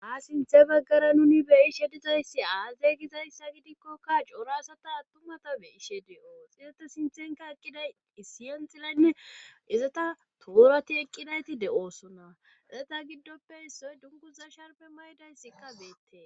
ha sinthe baggara nuni beyishe dizayssi aaze gizayssa gidikkokka cora asata attumata be ishe de7oo xizata sinthenka eqqiday isiyanxilaynne izata toorati eqqidayti de7oosona azeta giddoppe issoy dunguza sharpe maydayssikka beette